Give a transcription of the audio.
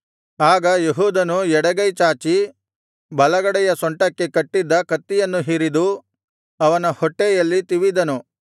ಆಗ ಏಹೂದನು ಎಡಗೈ ಚಾಚಿ ಬಲಗಡೆಯ ಸೊಂಟಕ್ಕೆ ಕಟ್ಟಿದ್ದ ಕತ್ತಿಯನ್ನು ಹಿರಿದು ಅವನ ಹೊಟ್ಟೆಯಲ್ಲಿ ತಿವಿದನು